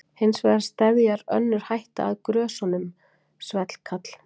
Hins vegar steðjar önnur hætta að grösunum, svellkal.